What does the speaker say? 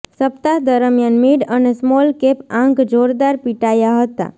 સપ્તાહ દરમિયાન મિડ અને સ્મોલ કેપ આંક જોરદાર પીટાયા હતા